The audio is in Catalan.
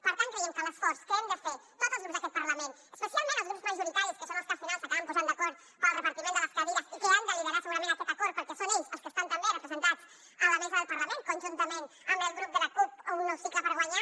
per tant creiem que l’esforç que hem de fer tots els grups d’aquest parlament especialment els grups majoritaris que són els que al final s’acaben posant d’acord per al repartiment de les cadires i que han de liderar segurament aquest acord perquè són ells els que estan també representats a la mesa del parlament conjuntament amb el grup de la cup un nou cicle per guanyar